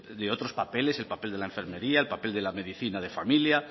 de otros papeles el papel de la enfermería el papel de la medicina de familia